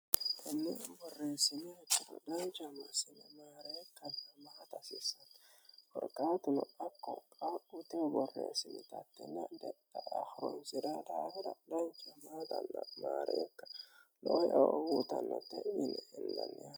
kanniennu borreessini hitorodaancama simi maareekamahat asissen horqaatuno akkoqaauteu borreessimitattinna de hirosi'ra daafora dancamaall maareekka noaowuutannatte ini illannih